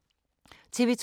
TV 2